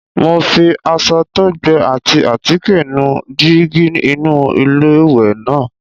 Mo fi aṣọ tó gbẹ ati àtíkè nu jígí inú iléwẹ̀ náà.